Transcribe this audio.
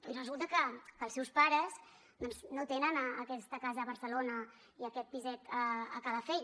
i resulta que els seus pares doncs no tenen aquesta casa a barcelona i aquest piset a calafell